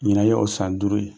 Ɲinan ye o san duuru ye.